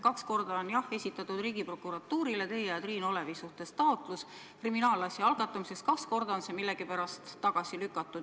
Kaks korda on esitatud Riigiprokuratuurile teie ja Triin Olevi suhtes taotlus kriminaalasja algatamiseks, kaks korda on see millegipärast tagasi lükatud.